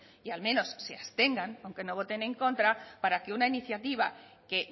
y al menos se abstengan aunque no voten en contra para que una iniciativa que